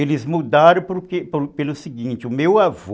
Eles mudaram pelo pelo seguinte, o meu avô,